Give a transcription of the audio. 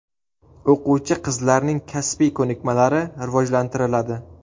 O‘quvchi-qizlarning kasbiy ko‘nikmalari rivojlantiriladi.